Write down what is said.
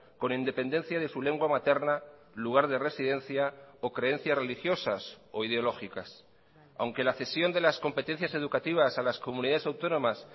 con independencia de su lengua materna lugar de residencia o creencias religiosas o ideológicas aunque la cesión de las competencias educativas a las comunidades autónomas